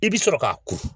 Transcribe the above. I bi sɔrɔ ka ko